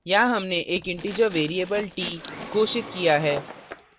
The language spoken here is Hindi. यहाँ हमने एक integer variable t घोषित किया है